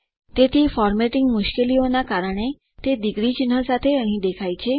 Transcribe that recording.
તેથી ફોર્મેટિંગ મુશ્કેલીઓ ના કારણે તે ડિગ્રી ચિહ્ન સાથે અહીં દેખાય છે